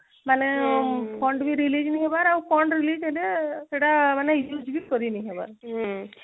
ମାନେ fund ବି release ନେଇ ହବାର ଆଉ fund release ହେଲେ ସେଇଟା ମାନେ use ବି କରି ନେଇ ହବାର